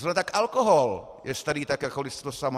Zrovna tak alkohol je starý tak jako lidstvo samo.